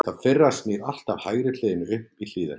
það fyrra snýr alltaf hægri hliðinni upp í hlíðina